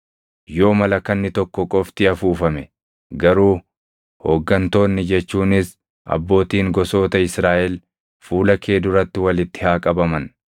Yoo malakanni tokko qofti afuufame garuu hooggantoonni jechuunis abbootiin gosoota Israaʼel fuula kee duratti walitti haa qabaman.